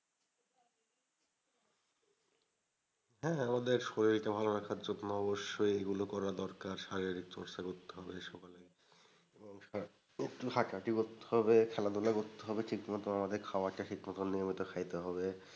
হ্যাঁ আমাদের শরীরকে ভালো রাখার জন্য অবশ্যই এগুলো করা দরকার। শারীরিক চর্চা করতে হবে সকালে এবং একটু হাঁটাহাঁটি করতে হবে খেলাধুলা করতে হবে ঠিক মতো আমাদের খাবারটা ঠিক মতো নিয়মিত খাইতে হবে।